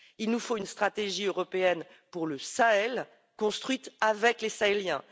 il nous faut une stratégie européenne pour le Sahel, construite avec les Sahéliens.